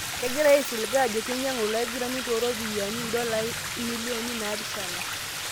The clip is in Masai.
Kegirae aisilig ajo keinyangu ilo aigurani toropiani £7m.